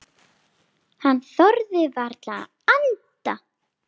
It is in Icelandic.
Hann þorði varla að anda.